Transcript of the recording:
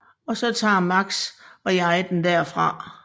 Og så tager Max og jeg den derfra